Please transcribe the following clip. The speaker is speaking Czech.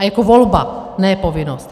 A jako volba, ne povinnost.